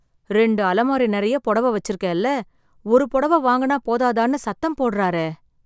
ரெண்டு அலமாரி நெறைய புடவை வெச்சிருக்கேல்ல, ஒரு புடவை வாங்குனா போதாதான்னு சத்தம் போடறாரே...